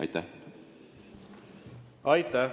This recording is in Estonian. Aitäh!